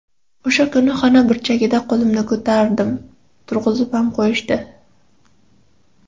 O‘sha kuni xona burchagida qo‘limni ko‘tartirib, turg‘izib ham qo‘yishdi.